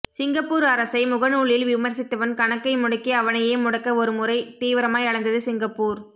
Singapore அரசை முகநூலில் விமர்சித்தவன் கணக்கை முடக்கி அவனையே முடக்க ஒருமுறை தீவிரமாய் அலைந்தது சிங்கப்பூர்